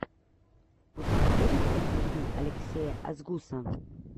у тебя будет интервью алексея асгуса